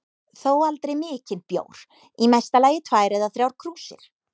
Þó aldrei mikinn bjór, í mesta lagi tvær eða þrjár krúsir.